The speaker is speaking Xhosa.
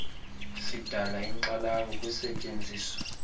sidala inkxalabo kusetyenziso